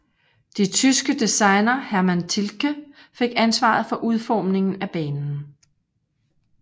De tyske designer Hermann Tilke fik ansvaret for udformningen af banen